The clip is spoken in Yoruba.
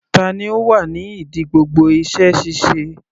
Tani ó wà ní ìdí gbogbo iṣẹ́ ṣíṣe?